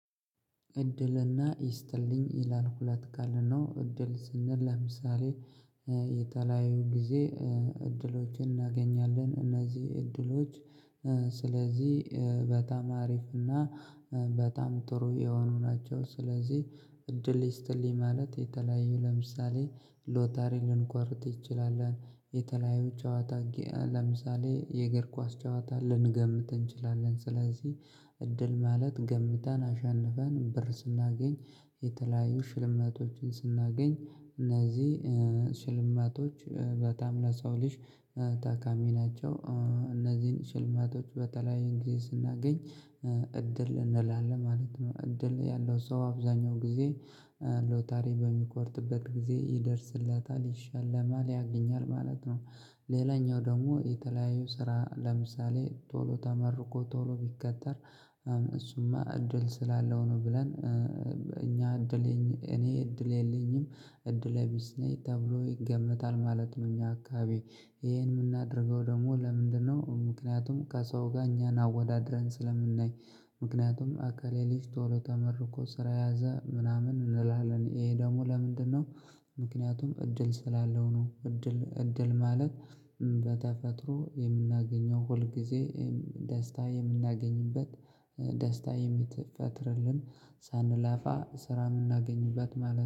እድልና ይስጥልኝ ይላል ሁለት ቃል ነው እድል ስንል ለምሳሌ የተለያዩ ጊዜ እድሎችን እናገኛለን። እነዚህ እድሎች። ስለዚህ በጣም አሪፍ እና በጣም ጥሩ የሆኑ ናቸው። ስለዚህ እድል ይስጥልኝ ማለት የተለያዩ ለምሳሌ ሎተሪ ልንቆርጥ እንችላለን። የተለያዩ ጨዋታ ጊያ ለምሳሌ የእግር ኳስ ጨዋታ ልንገምት እንችላለን። ስለዚህ እድል ማለት ገምተን አሸንፈን ብር ስናገኝ የተለያዩ ሽልማቶችን ስናገኝ እነዚህ ሽልማቶች በጣም ለሰው ልጅ ተቃሚ ናቸው። እነዚህን ሽልማቶች በተለያየ ጊዜ ስናገኝ እድል እንላለን ማለት ነው። እድል ያለው ሰው አብዛኛው ጊዜ ሎተሪ በሚቆርጥበት ጊዜ ይደርስለታል ይሸለማል ያገኛል ማለት ነው። ሌላኛው ደግሞ የተለያዩ ስራ ለምሳሌ ቶሎ ተመርቆ ቶሎ ቢቀጠር እሱማ እድል ስላለው ነው። ብለን እኛ እድለኛ እኔ እድል የለኝም እድለ ቢስ ነኝ ተብሎ ይገመታል ማለት ነው። እኛ አካባቢ ይሄን የምናደርገው ደግሞ ለምንድነው? ምክንያቱም ከሰው ጋር እኛን አወዳድረን ስለምናይ። ምክንያቱም የእከሌ ልጅ ቶሎ ተመርቆ ስራ ያዘ ምናምን እንላለን። ይሄ ደግሞ ለምንድነው? ምክንያቱም እድል ስላለው ነው። እድል እድል ማለት በተፈጥሮ የምናገኘው ሁል ጊዜ ደስታ የምናገኝበት ደስታ የሚትረፈረፍልን ሳንላፋ ስራ የምናገኝበት ማለት